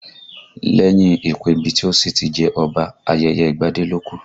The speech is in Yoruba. Lẹ́yìn ìpèbí tí ó sì ti jẹ́ Ọba, ayẹyẹ ìgbadé ló kù